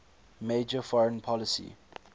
major foreign policy